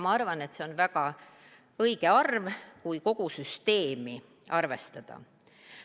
Ma arvan, et see on väga õige arv, kui kogu süsteemi arvestada.